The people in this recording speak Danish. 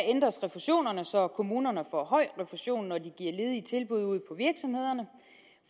ændres refusionerne så kommunerne får høj refusion når de giver ledige tilbud ude på virksomhederne